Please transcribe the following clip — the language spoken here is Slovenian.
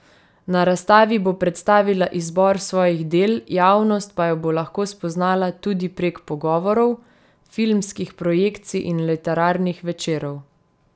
Na razstavi bo predstavila izbor svojih del, javnost pa jo bo lahko spoznala tudi prek pogovorov, filmskih projekcij in literarnih večerov.